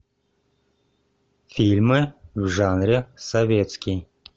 фильмы в жанре советский